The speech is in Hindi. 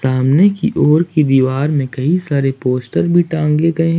सामने की दीवार में कई सारे पोस्टर भी टांगे गए हैं।